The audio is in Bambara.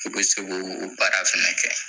I be se k'o o baara fɛnɛ kɛ.